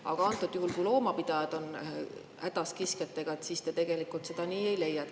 Aga antud juhul, kui loomapidajad on hädas kiskjatega, te nii ei leia.